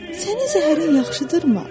Sənin zəhərin yaxşıdırmı?